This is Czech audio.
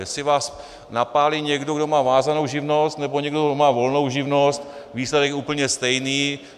Jestli vás napálí někdo, kdo má vázanou živnost, nebo někdo, kdo má volnou živnost, výsledek je úplně stejný.